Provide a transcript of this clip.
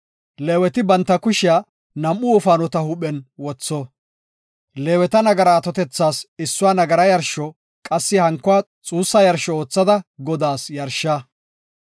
Leeweti banta kushiya nam7u wofaanota huuphen wotho. Leeweta nagara atotethas issuwa nagara yarsho, qassi hankuwa xuussa yarsho oothada Godaas yarsha.